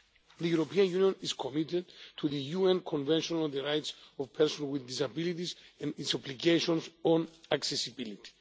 The European Union is committed to the UN Convention on the Rights of Persons with Disabilities and its obligations on accessibility.